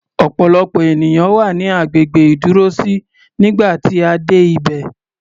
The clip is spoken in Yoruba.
Ọ̀pọ̀lọpọ̀ ènìyàn wà ní agbègbè ìdúrósí nígbà tí a dé ibẹ̀.